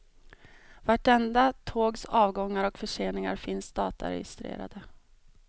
Vartenda tågs avgångar och förseningar finns dataregistrerade.